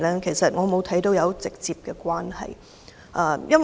其實我看不到有直接關係。